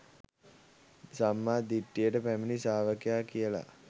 සම්මා දිට්ඨියට පැමිණි ශ්‍රාවකයා කියල.